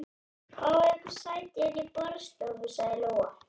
Fáið ykkur sæti inni í borðstofu, sagði Lóa.